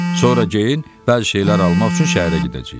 Sonra geyin, bəzi şeylər almaq üçün şəhərə gedəcəyik.